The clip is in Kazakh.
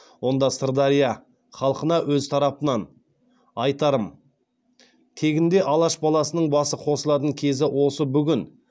онда сырдария халқына өз тарапымнан айтарым тегінде алаш баласының басы қосылатын кезі осы бүгін